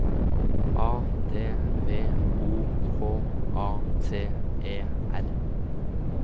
A D V O K A T E R